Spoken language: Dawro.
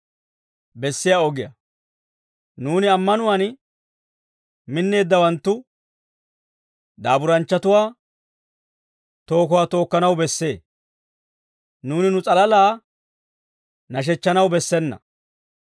Nuuni ammanuwaan minneeddawanttu daaburanchchatuwaa tookuwaa tookkanaw bessee; nuuni nu s'alalaa nashechchanaw bessena.